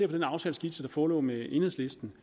den aftaleskitse der forelå med enhedslisten